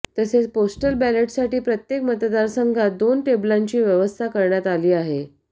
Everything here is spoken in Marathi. तसेच पोस्टल बॅलेटसाठी प्रत्येक मतदारसंघात दोन टेबलांची व्यवस्था करण्यात आली आहे